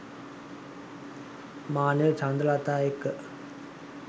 මානෙල් චන්ද්‍රලතා එක්ක.